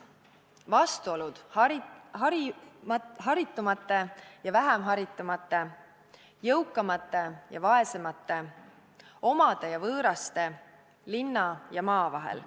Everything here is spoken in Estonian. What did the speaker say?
Vastuolud haritumate ja vähem haritumate, jõukamate ja vaesemate, omade ja võõraste, linna ja maa vahel.